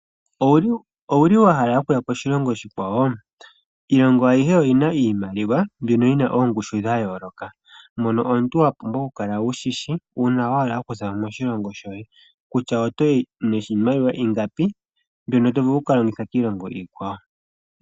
Owuli wa hala okuya koshilongo oshikwawo? Iilongo ayihe oyina iimaliwa mbyono yina oongushu dha yooloka. Mono omuntu wa pumbwa okukala wushishi uuna wa hala okuzamo moshilongo shoye kutya otoyi niimaliwa ingapi mbyono to vulu okukalongitha kiilongo iikwawo.